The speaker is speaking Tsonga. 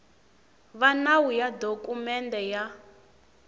va nawu ya dokumende ya